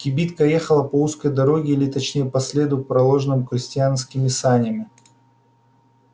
кибитка ехала по узкой дороге или точнее по следу проложенному крестьянскими санями